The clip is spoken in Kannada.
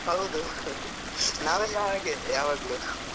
ಹೌದು. ನಾವೆಲ್ಲ ಹಾಗೆ ಯಾವಾಗ್ಲೂ.